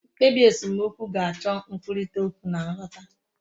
mkpebi esemokwu ga-acho nkwurita okwu na nghota